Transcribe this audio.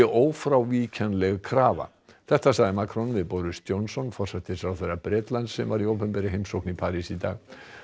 ófrávíkjanleg krafa þetta sagði Macron við Boris Johnson forsætisráðherra Bretlands sem var í opinberri heimsókn í París í dag